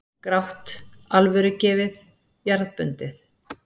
Grátt, alvörugefið, jarðbundið.